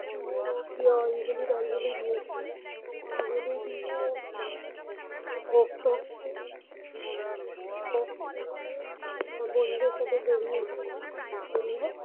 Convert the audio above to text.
school -এ হোক গিয়ে অঞ্জলি টঞ্জলি দিয়েছি অঞ্জলি দিয়ে বা বা স্কুলে ভোগ টোগ খেয়ে ভোগ খেয়েছি ভোগ খেয়ে টেয়ে বন্ধুদের সাথে বেরিয়ে ছিলাম বেরিয়ে